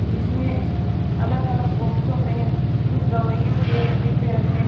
जीसमें अलग अलग बॉक्सों में कुछ दवाइयों के डिब्बे रखे हैं।